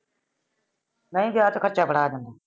ਵੇਸੇ ਵਿਆਹ ਤੇ ਖਰਚਾ ਬੜਾ ਆ ਜਾਂਦਾ ।